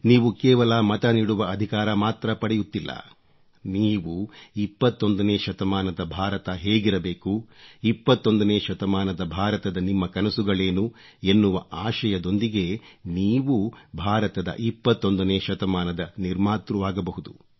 ನೀವು ಕೇವಲ ಮತ ನೀಡುವ ಅಧಿಕಾರ ಮಾತ್ರ ಪಡೆಯುತ್ತಿಲ್ಲ ನೀವು 21 ನೇ ಶತಮಾನದ ಭಾರತ ಹೇಗಿರಬೇಕು 21 ನೇ ಶತಮಾನದ ಭಾರತದ ನಿಮ್ಮ ಕನಸುಗಳೇನು ಎನ್ಮ್ನವ ಆಶಯದೊಂದಿಗೆ ನೀವೂ ಭಾರತದ 21 ನೇ ಶತಮಾನದ ನಿರ್ಮಾತೃವಾಗಬಹುದು